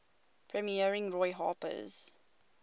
premiering roy harper's